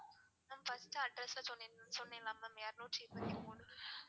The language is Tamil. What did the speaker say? mam first address அ சொன்னன்ல mam எரநூற்றி இருபத்தி மூணு.